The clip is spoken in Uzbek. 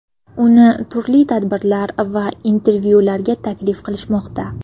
Uni turli tadbirlar va intervyularga taklif qilishmoqda.